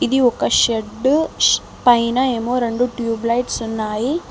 ఇది ఒక షెడ్డు పైనా ఏమో రెండు ట్యూబ్ లైట్స్ ఉన్నాయి.